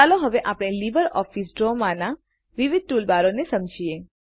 ચાલો હવે આપણે લીબરઓફીસ ડ્રોમાંના વિવિધ ટૂલબારોને સમજીએ